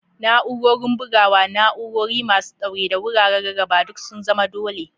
Na'urorin bugawa, na'urori masu ɗaure, da wuraren rarraba duk sun zama dole.